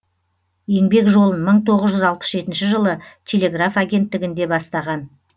еңбек жолын мың тоғыз жүз алпыс жетінші жылы телеграф агенттігінде бастаған